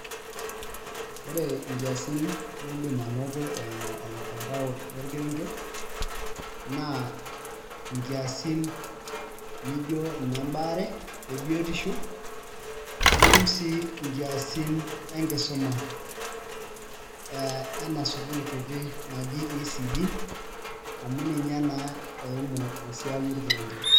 Ore nkiasin niidim anoto eimu ormutandao lorkerenget naa nkiasin nijio inembaare ebiotisho nitum sii nkiasin enkisuma ena sukuul kiti naji ECD amu ninye naa eimu esiai orkerenget.